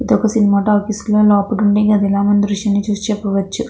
ఇది ఒక cinema talkies లాగా మనకు లోపల కనిపిస్తున్నది ఈ దృశ్యం లో.